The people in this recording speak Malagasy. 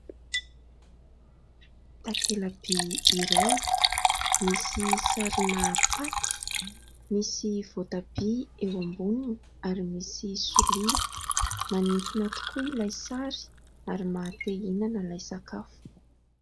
Takelaby iray misy sarina paty, misy voatabia eo amboniny ary misy solila; manintona tokoa ilay sary ary maha-te ihinana ilay sakafo.